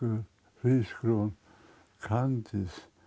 hrísgrjón kandís